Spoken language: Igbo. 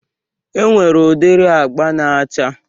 Enwere udiri agba na-acha